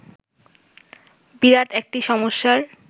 বিরাট একটি সমস্যার